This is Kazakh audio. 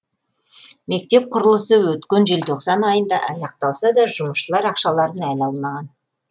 мектеп құрылысы өткен желтоқсан айында аяқталса да жұмысшылар ақшаларын әлі алмаған